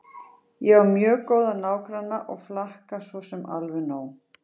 Ég á mjög góða nágranna og flakka svo sem alveg nóg.